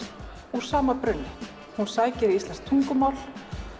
úr saman brunni hún sækir í íslenskt tungumál